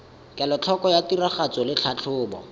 kelotlhoko ya tiragatso le tlhatlhobo